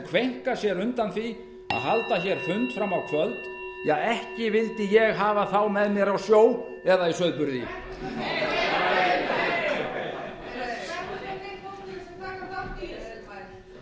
kveinka sér undan því að halda fund fram á kvöld ekki vildi ég hafa þá með mér á sjó eða í sauðburði